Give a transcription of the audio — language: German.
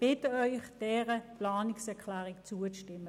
Ich bitte Sie, dieser Planungserklärung zuzustimmen.